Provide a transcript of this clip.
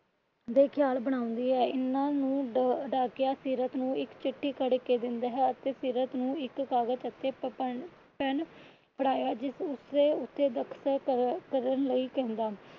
ਦੇ ਖਿਆਲ ਬਣਾਉਂਦੀ ਹੈ। ਏਨੇ ਨੂੰ ਡਾਕੀਆ ਸੀਰਤ ਨੂੰ ਇੱਕ ਚਿੱਠੀ ਫੜ ਕੇ ਦਿੰਦਾ ਹੈ। ਤੇ ਸੀਰਤ ਨੂੰ ਇੱਕ ਕਾਗਜ ਤੇ ਪ ਪੇਨ ਫੜਇਆ। ਤੇ ਜਿਸ ਤੇ ਦਸਖ਼ਤ ਕਰਨ ਲਈ ਕਹਿੰਦਾ।